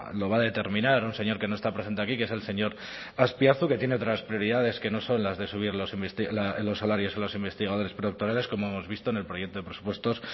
lo va a determinar un señor que no está presente aquí que es el señor azpiazu que tiene otras prioridades que no son las de subir los salarios a los investigadores predoctorales como hemos visto en el proyecto de presupuestos